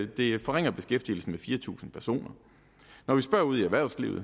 det forringer beskæftigelsen med fire tusind personer når vi spørger ude i erhvervslivet